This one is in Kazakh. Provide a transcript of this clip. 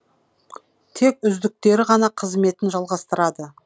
тек үздіктері ғана қызметін жалғастырады